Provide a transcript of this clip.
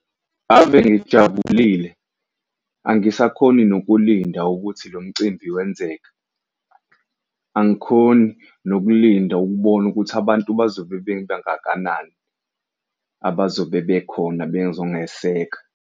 Ave ngijabulile, angisakhoni nokulinda ukuthi lo mcimbi wenzeka. Angikhoni nokulinda ukubona ukuthi abantu bazobe beba ngakanani abazobe bekhona bezongeseka.